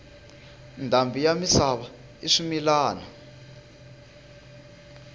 ndhambi yi misava i swimilana